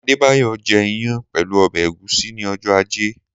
Adébólá jẹ́ ìyàn pẹ̀lú ọbẹ̀ ẹ̀gúsí ni ọjọ́ ajé.